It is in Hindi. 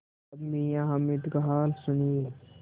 अब मियाँ हामिद का हाल सुनिए